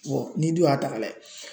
n'i dun y'a ta ka lajɛ